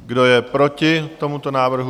Kdo je proti tomuto návrhu?